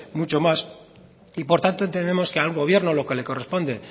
mucho más y por tanto entendemos que a un gobierno lo que le corresponde